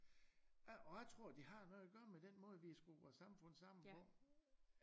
Og jeg tror det har noget at gøre med den måde vi har skruet vores samfund sammen på